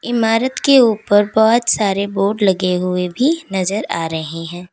इमारत के ऊपर बहोत सारे बोर्ड लगे हुए भी नजर आ रहे हैं।